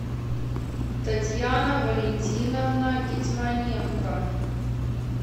татьяна валентиновна гетьманенко